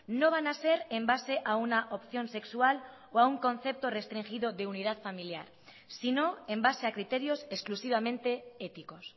no van a ser en base a una opción sexual o a un concepto restringido de unidad familiar sino en base a criterios exclusivamente éticos